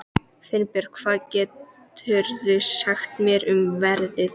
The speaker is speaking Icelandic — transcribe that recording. Finnbjörk, hvað geturðu sagt mér um veðrið?